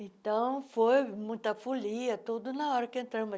Então, foi muita folia, tudo na hora que.